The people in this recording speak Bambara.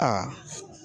Aa